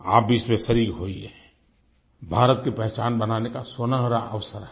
आप भी इसमें शरीक होइए भारत की पहचान बनाने का सुनहरा अवसर है